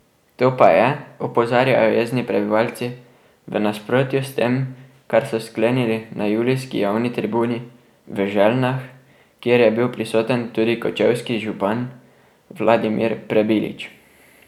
To pa je, opozarjajo jezni prebivalci, v nasprotju s tem, kar so sklenili na julijski javni tribuni v Željnah, kjer je bil prisoten tudi kočevski župan Vladimir Prebilič.